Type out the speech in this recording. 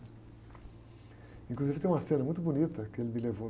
Inclusive tem uma cena muito bonita que ele me levou